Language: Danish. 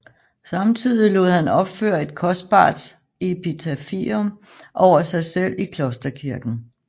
Samtidig lod han opføre et kostbart epitafium over sig selv i klosterkirken